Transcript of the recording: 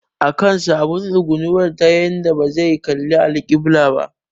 Akan sa abun tsugunawa ta yanda bazai kalli alƙibila ba